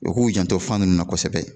U k'u janto fan nun na kosɛbɛ